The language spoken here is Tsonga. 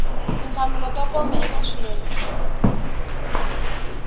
tinhlamulo to koma eka xiyenge